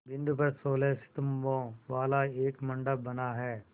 बिंदु पर सोलह स्तंभों वाला एक मंडप बना है